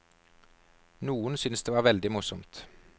Noen syns det var veldig morsomt.